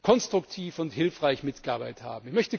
konstruktiv und hilfreich mitgearbeitet haben.